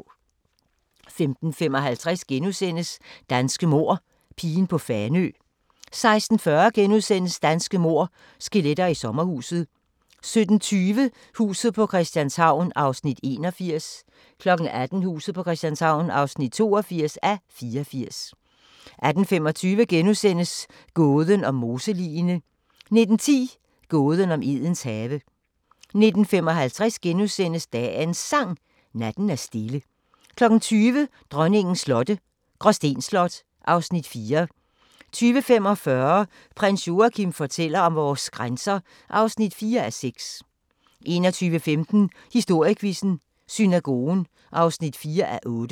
15:55: Danske mord – pigen på Fanø * 16:40: Danske mord – skelettet i sommerhuset * 17:20: Huset på Christianshavn (81:84) 18:00: Huset på Christianshavn (82:84) 18:25: Gåden om moseligene * 19:10: Gåden om Edens have 19:55: Dagens Sang: Natten er stille * 20:00: Dronningens slotte – Gråsten Slot (Afs. 4) 20:45: Prins Joachim fortæller om vores grænser (4:6) 21:15: Historiequizzen: Synagogen (4:8)